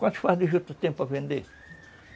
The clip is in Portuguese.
Quantos fardos de juta tu tem para vender?